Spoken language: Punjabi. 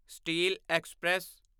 steel express